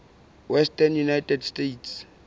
western united states